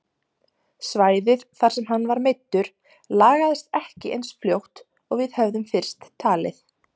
Svæðið þar sem hann var meiddur lagaðist ekki eins fljótt og við höfðum fyrst talið.